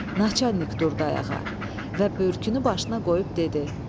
Naçalnik durdu ayağa və börkünü başına qoyub dedi: